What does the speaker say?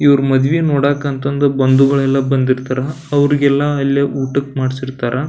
ಇವ್ರ ಮದುವೆ ನೋಡಾಕ ಅಂತ ಬಂಧುಗಳೆಲ್ಲ ಬಂದಿರ್ತಾರ ಅವ್ರಿಗೆಲ್ಲ ಇಲ್ಲೆ ಊಟಕ್ಕೆ ಮಾಡಿರ್ತಾರ.